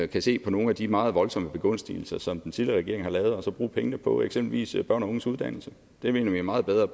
kan se på nogle af de meget voldsomme begunstigelser som den tidligere regering har lavet og så bruge pengene på eksempelvis børn og unges uddannelse det mener vi er meget bedre